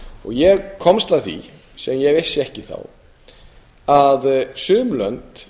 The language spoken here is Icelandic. og ég komst að því sem ég vissi ekki fyrir að sum lönd